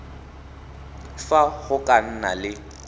fa go ka nna le